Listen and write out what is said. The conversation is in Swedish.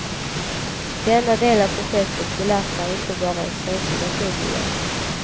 Denna del av projektet belastar inte bara en känslig naturmiljö.